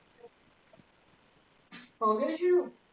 ਹੋ ਗਏ ਜੀ ਸ਼ੁਰੂ.